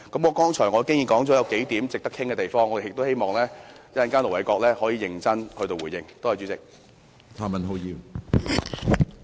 我剛才已提出數點值得討論的地方，希望盧偉國稍後能認真地作出回應。